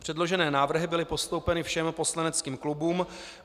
Předložené návrhy byly postoupeny všem poslaneckým klubům.